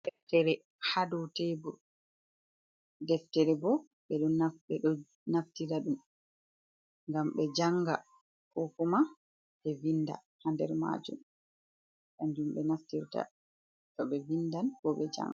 Deftere hadow tebur, Deftere bo ɓeɗo naftira ɗum ngam ɓe janga ko kuma ɓe vinda ha nder majum kanjum ɓenaftirta toɓe vindan ko ɓe janga.